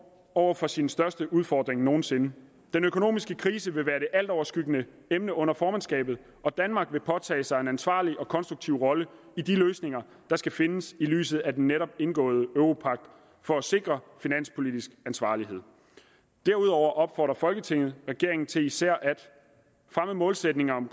over for sin største udfordring nogensinde den økonomiske krise vil være det altoverskyggende emne under formandskabet og danmark vil påtage sig en ansvarlig og konstruktiv rolle i de løsninger der skal findes i lyset af den netop indgåede europagt for at sikre finanspolitisk ansvarlighed derudover opfordrer folketinget regeringen til især at fremme målsætningerne om